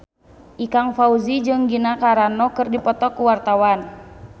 Ikang Fawzi jeung Gina Carano keur dipoto ku wartawan